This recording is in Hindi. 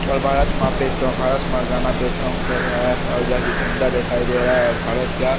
और भारत माता का भारत माता के गाने पे सोंग कर रहा है और जहाँ की झंडा दिखाई दे रहा है भारत का।